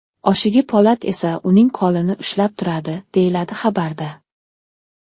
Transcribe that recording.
Oshig‘i Po‘lat esa uning qo‘lini ushlab turadi”, deyiladi xabarda.